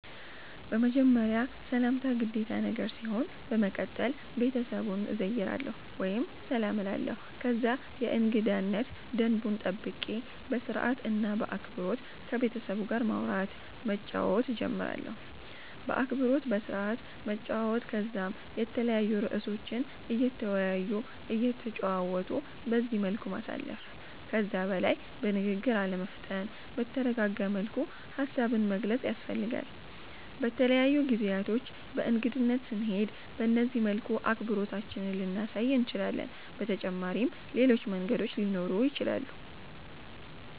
በመጀመርያ ሰላምታ ግዴታ ነገር ሲሆን በመቀተል ቤተሰቡን እዘይራለሁ ወይም ሰላም እላለሁ ከዛ የእንገዳነት ደንቡን ጠብቄ በስርአት እና በአክበሮት ከቤተሰቡ ጋር ማዉራት መጫወት ጀምራለሁ። በአክብሮት በስርአት መጨዋወት ከዛም የተለያዩ እርእሶችን እየተወያዩ እየተጨዋወቱ በዚህ መልኩ ማሳለፍ። ከዛ በላይ በንግግር አለመፍጠን በተረጋጋ መልኩ ሃሳብን መግለፅ ያስፈልጋል። በተለያዩ ጊዜያቶች በእንግድነት ስንሄድ በነዚህ መልኩ አክብሮታችንን ልናሳይ እንችላለን። በተጫመሪም ሌሎች መንገዶችም ሊኖሩ ይችላሉ